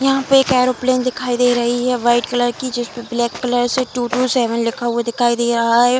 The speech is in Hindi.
यहाँ पे एक एयरोप्लेन दिखाई दे रही है वाइट कलर की ब्लैक कलर से टू टू सेवेन लिखा हुआ दिखाई दे रहा है।